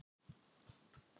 Ert þú að fara eitthvað?